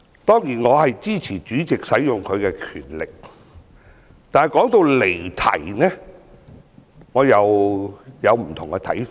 當然，我支持主席運用他的權力。但是，談到離題，我有不同的看法。